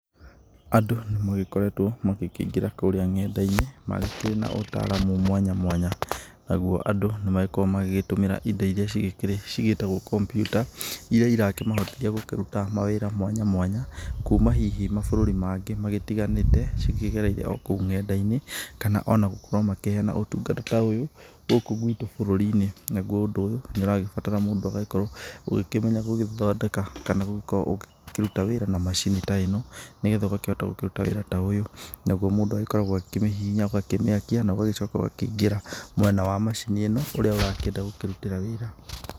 Andũ nĩ magĩkoretwo magĩkĩingĩra kũrĩa nenda-inĩ, magĩkĩrĩ na ũtaraamu mwanya mwanya, naguo andũ nĩ magĩkoragwo magĩgĩtũmĩra indo iria cigĩĩtagwo kambyuta iria irakĩmahotithia gũkĩruta mawĩra mwanya mwanya, kuuma hihi mabũrũri mangĩ magĩtiganĩte, cikĩgereire o kũu nenda-inĩ, kana ona gũkorwo makĩheana ũtungata ũyũ gũkũ gwitũ bũrũri-inĩ, naguo ũndũ ũyũ nĩ ũragĩbatara mũndũ agagĩkorwo ũgĩkĩmenya gũgĩthondeka kana gũgĩkorwo ũkĩruta wĩra na macini ta ĩno, nĩgetha ũgakĩhota gũkĩruta wĩra ta ũyũ, naguo mũndũ agĩkoragwo agĩkĩmĩhihinya, ũgakĩmĩakia na ũgagĩcoka ũgakĩingĩra mwena wa macini ĩno ũrĩa ũrakĩenda gũkĩrutĩra wĩra.